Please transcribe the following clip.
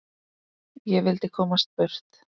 Ég vildi komast burt.